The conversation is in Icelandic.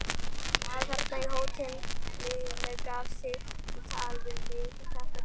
Maður þarna á hótelinu gaf sig á tal við mig þetta kvöld.